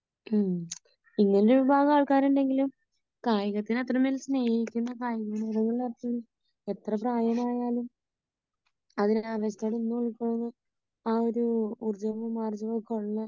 ഹ്ം ഇങ്ങനെ ഒരു വിഭാഗം ആൾക്കാർ ഉണ്ടെങ്കിലും കായികത്തെ അത്രയും കൂടുതൽ സ്നേഹിക്കുന്ന എത്ര പ്രായമായാലും ആ ഒരു